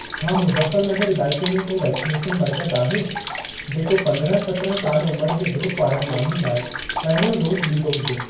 छा मुज़फ़्फ़र नगर इलाइके में को वैक्सनेशन मर्कज़ आहे, जेको पंद्रहां सत्राहं साल उमिर जे ग्रूप वारनि माण्हुनि लाइ पहिरियों डोज़ ॾींदो हुजे?